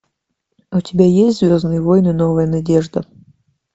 у тебя есть звездные войны новая надежда